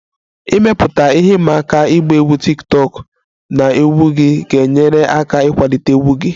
Ịmepụta ihe ịma aka ịgba egwu tiktokụ na egwu gị ga-enyere aka ịkwalite egwu gị